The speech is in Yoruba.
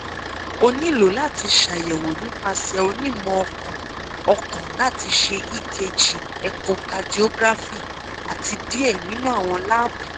o nilo lati ṣayẹwo nipasẹ onimọ-ọkan ọkan lati ṣe ekg echocardiography ati diẹ ninu awọn laabu